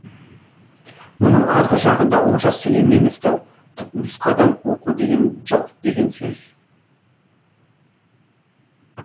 мұның арғы жағында олжас сүлейменовті түпнұсқадан оқу деген жоқ деген сөз